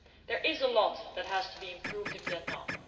There is a lot that has to be improved in Vietnam.